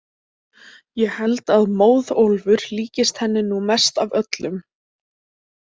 Ég held að Móðólfur líkist henni nú mest af þeim öllum.